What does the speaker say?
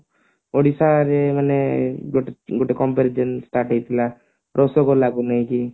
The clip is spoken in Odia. ଓଡିଶାରେ ମାନେ ଗୋଟେ compare ଯେମତି start ହେଇଥିଲା ରସଗୋଲାକୁ ନେଇକି